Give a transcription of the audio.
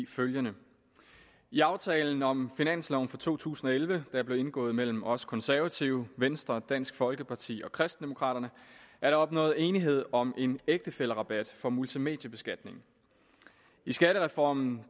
følgende i aftalen om finansloven for to tusind og elleve der blev indgået mellem os konservative venstre dansk folkeparti og kristendemokraterne er der opnået enighed om en ægtefællerabat for multimediebeskatning i skattereformen